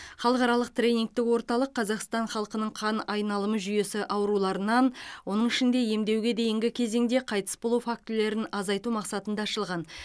халықаралық тренингтік орталық қазақстан халқының қан айналымы жүйесі ауруларынан оның ішінде емдеуге дейінгі кезеңде қайтыс болу фактілерін азайту мақсатында ашылған